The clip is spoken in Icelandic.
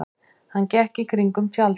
Hann gekk í kringum tjaldið.